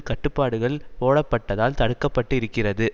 கட்டுப்பாடுகள் போடப்பட்டதால் தடுக்க பட்டு இருக்கிறது